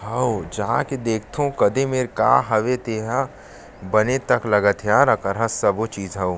हव जाके के देखथव क दे मेर का हवे तेहा बने तक लगत हे यार अ करा सबो चीज ह आऊ--